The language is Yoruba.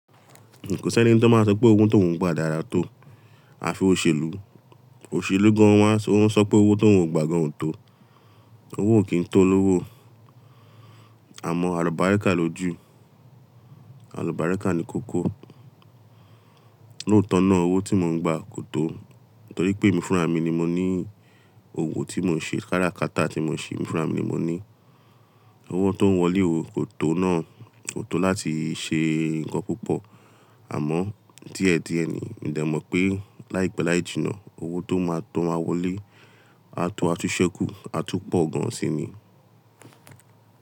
Kò sí ẹni tí ó máa sọ pé owó tóun gbà dára tó. A fi òṣèlú, òṣèlú gan won a, ó ń sọ pé owó tóun gbà gan ò tó. Owó kì n tó olówó. Àmọ́ àlùbáríkà lójú, àlùbáríkà ní kókó. Lóótọ́ náà owó tí mò ń gbà kò tó, nítorí pé emi fúnra mi ni mo ní òwo tí mò ń ṣe, kára kata tí mò ń ṣe, emi fúnra mi ni mo ní. Owó tó ń wọlé o, kò tó náà, kò tó láti ṣe ǹkan púpọ̀. Àmọ́ díẹ̀ díẹ̀ ni, mo de mọ̀ pé láìpẹ́ láì jìnnà owó tó máa tó máa wọlé, a tó a tú ṣẹ́kù, a tú pọ̀ gan síi ni.